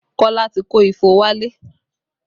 Kola ti kó ifo wálé